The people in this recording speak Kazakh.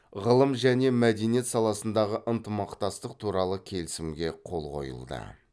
ғылым және мәдениет саласындағы ынтымақтастық туралы келісімге қол қойылды